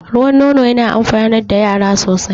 Ruwan nono yana amfanar da yara sosai